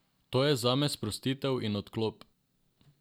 To je zame sprostitev in odklop.